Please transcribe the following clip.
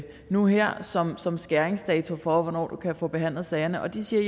nu her som som skæringsdato for hvornår du kan få behandlet sagerne og de siger at